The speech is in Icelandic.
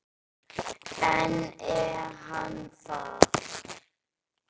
En er hann það?